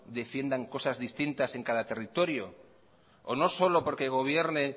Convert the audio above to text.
defiendan cosas distintas en cada territorio o no solo porque gobierne en